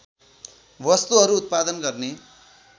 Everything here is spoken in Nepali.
वस्तुहरू उत्पादन गर्ने